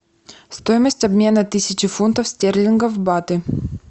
стоимость обмена тысячи фунтов стерлингов в баты